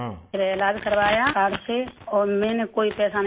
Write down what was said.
پھر علاج کروایا کارڈ سے، اور میں نے کوئی پیسہ نہیں لگایا